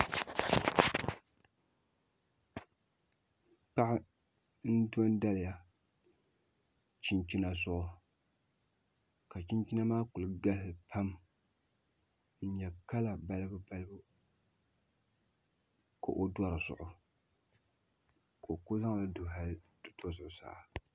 Paɣa n do n daliya chinchina zuɣu ka chinchina maa ku galisi pam n nyɛ kala balibu balibu ka o do dizuɣu ka o ku zaŋli du hali ti to zuɣusaa